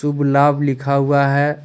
तुभ लाभ लिखा हुआ है।